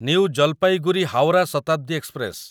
new Jalpaiguri Howrah Shatabdi express